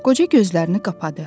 Qoca gözlərini qapadı.